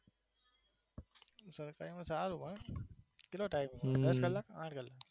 સરકારીમાં સારું છે હા કેટલો થાય છે? દસ કલાક આઠ કલાક